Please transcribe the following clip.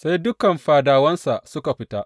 Sai dukan fadawansa suka fita.